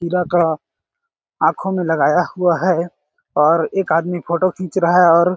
खीरा का आँखों में लगाया हुआ है और एक आदमी फोटो खींच रहा है और --